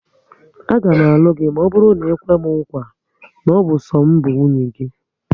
Aga m alụ gị maọbụru na ikwe m nkwa, na ọ bụ so m bụ nwunye gị